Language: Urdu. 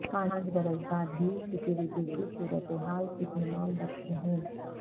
پانچ برس بعد بھی سکیورٹی کی صورتحال اطمینان بخش نہیں